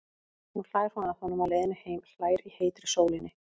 Nú hlær hún að honum á leiðinni heim, hlær í heitri sólinni.